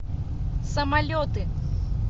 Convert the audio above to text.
самолеты